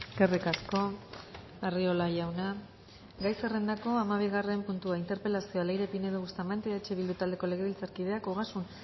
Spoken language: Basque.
eskerrik asko arriola jauna gai zerrendako hamabigarren puntua interpelazioa leire pinedo bustamante eh bildu taldeko legebiltzarkideak ogasun